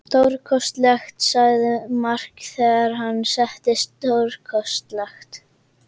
Stórkostlegt, sagði Mark þegar hann settist, stórkostlegt.